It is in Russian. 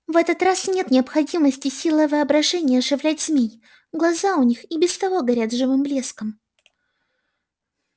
в этот раз нет необходимости силой воображения оживлять змей глаза у них и без того горят живым блеском